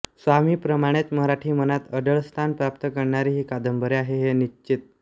स्वामीप्रमाणेच मराठी मनात अढळ स्थान प्राप्त करणारी ही कादंबरी आहे हे निश्वित